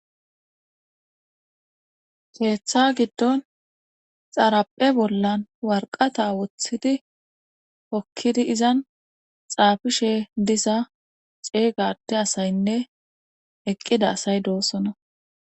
Keeththa giddon xaraphe bollan warqata woththidi hokkidi izan xaafishe disa ceeygate asaynne eqqida asay doossona.